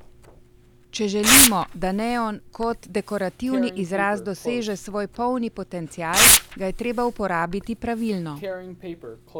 Če želimo, da neon kot dekorativni izraz doseže svoj polni potencial, ga je treba uporabiti pravilno.